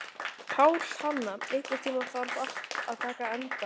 Pálhanna, einhvern tímann þarf allt að taka enda.